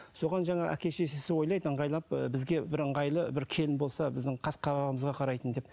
соған жаңағы әке шешесі ойлайды ыңғайлап ы бізге бір ыңғайлы бір келін болса біздің ы қас қабағымызға қарайтын деп